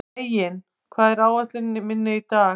Reginn, hvað er á áætluninni minni í dag?